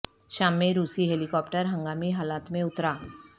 شام میں روسی ہیلی کاپٹر ہنگامی حالات میں اترا